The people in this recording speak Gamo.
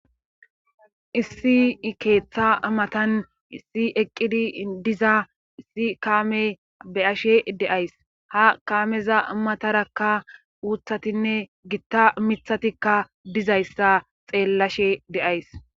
Issi I keetha matan issi eqqidi diza issi kaame be7ashe de7ays ha kaameza matarakka uuthatinne gita mithatikka dizayssa xeellashe de7ays